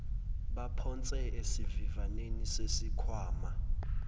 baphonse esivivaneni sesikhwama